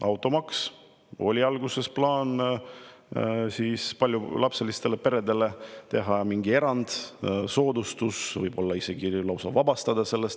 Automaksu puhul oli alguses plaan paljulapselistele peredele teha mingi erand, soodustus, võib-olla nad isegi automaksust vabastada.